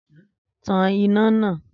Tan iná nàá!